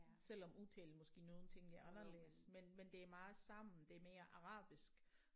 Selvom udtalen måske nogle ting er anderledes men men det er meget sammen det er mere arabisk